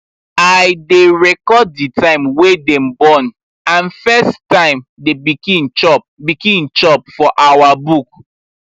i been record the time wy dem born and first time the pikin chop pikin chop for our book